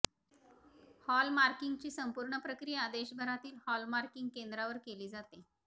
हॉलमार्किंगची संपूर्ण प्रक्रिया देशभरातील हॉलमार्किंग केंद्रांवर केली जाते